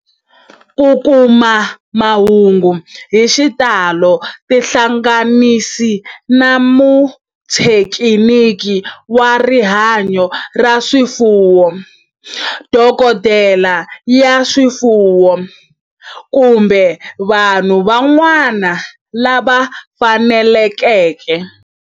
Ku kuma mahungu hi xitalo tihlanganisi na muthekiniki wa rihanyo ra swifuwo, dokodela ya swifuwo, kumbe vanhu van'wana lava fanelekeke